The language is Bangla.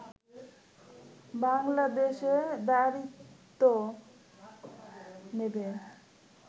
বাংলাদেশে দায়িত্ব নেবে